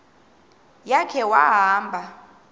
ya khe wahamba